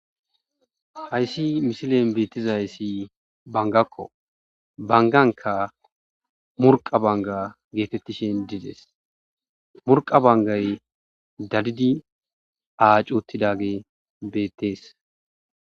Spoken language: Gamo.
hayssi misilen beettizayssi bangakko banganka murqa banga geetettishin dides murqa bangay dadidi aacuottidage beettees